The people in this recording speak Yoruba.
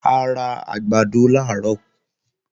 A ra àgbàdo làárọ̀